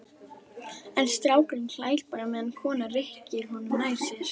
En strákurinn hlær bara meðan konan rykkir honum nær sér.